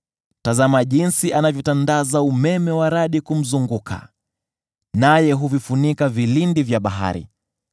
Tazama jinsi anavyotandaza umeme wa radi kumzunguka, naye huvifunika vilindi vya bahari.